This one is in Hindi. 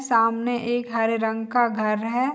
सामने एक हरे रंग का घर है।